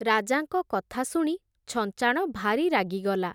ରାଜାଙ୍କ କଥା ଶୁଣି ଛଞ୍ଚାଣ ଭାରି ରାଗିଗଲା ।